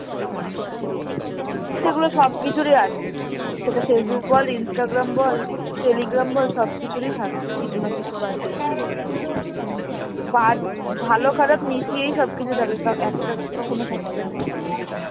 সেগুলো সবকিছুরই আছে, সেটা Facebook বল, Instagram ব্‌ Telegram বল সবকিছুরই থাকে কিছু না কিছু বাজে। বাজ ভালো খারাপ মিশিয়েই সবকিছু থাকে কা~ একটা কখনো থাকবে না।